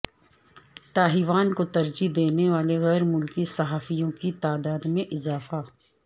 Taiwan کو ترجیح دینے والے غیر ملکی صحافیوں کی تعداد میں اضافہ